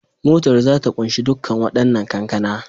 Motar za ta kunshi dukkan wadannan kankana